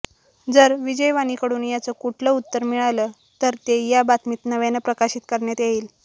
जर विजयवाणीकडून याचं कुठलं उत्तर मिळालं तर ते या बातमीत नव्यानं प्रकाशित करण्यात येईल